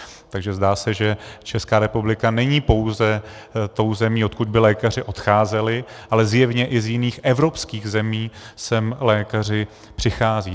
Takže zdá se, že Česká republika není pouze tou zemí, odkud by lékaři odcházeli, ale zjevně i z jiných evropských zemí sem lékaři přicházejí.